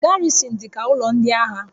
Garrịsịn dị ka ụlọ ndị agha